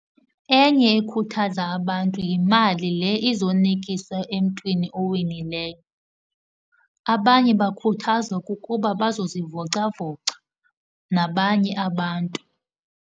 Enye ekhuthaza abantu yimali le izonikisa emntwini owinileyo. Abanye bakhuthazwa kukuba bazozivocavoca nabanye abantu.